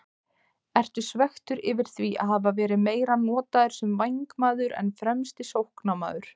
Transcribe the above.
Ertu svekktur yfir því að hafa verið meira notaður sem vængmaður en fremsti sóknarmaður?